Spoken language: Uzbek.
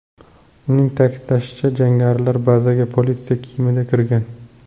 Uning ta’kidlashicha, jangarilar bazaga politsiya kiyimida kirgan.